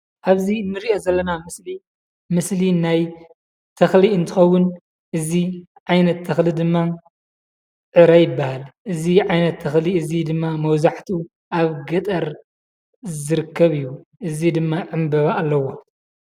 ኣብዚ እንርኦ ዘለና ምስሊ ምስሊ ናይ ተክሊ እንትከውን እዚ ዓይነት ተክሊ ድማ ዕረ ይበሃል። እዚ ዓይነት ተክሊ እዚ ድማ መብዛሓትኡ ኣብ ገጠር ዝርከብ እዩ። እዚ ድማ ዕንበባ ኣለዎ።